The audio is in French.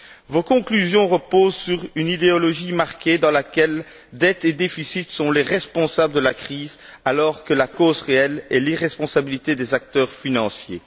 Vos conclusions reposent sur une idéologie marquée dans laquelle dette et déficit sont les responsables de la crise, alors que la cause réelle est l'irresponsabilité des acteurs financiers.